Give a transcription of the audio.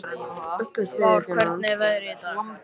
Vár, hvernig er veðrið í dag?